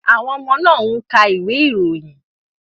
Àwọn ọmọ náà ń ka ìwé ìròyìn